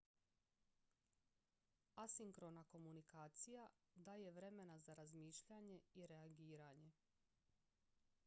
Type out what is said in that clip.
asinkrona komunikacija daje vremena za razmišljanje i reagiranje